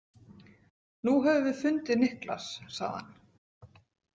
Nú höfum við fundið Niklas, sagði hann.